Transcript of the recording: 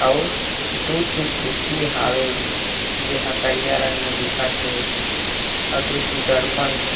अउ दु ठी कुर्सी हावे जेहा करिया रंग मे दिखत हे अ दू ठी दर्पण हे।